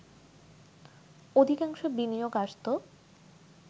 অধিকাংশ বিনিয়োগ আসত